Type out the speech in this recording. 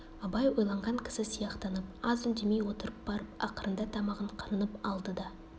абай ойланған кісі сияқтанып аз үндемей отырып барып ақырында тамағын қырынып алды да